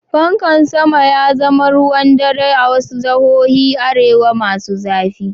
Pankan sama ya zama ruwan dare a wasu jihohin arewa masu zafi.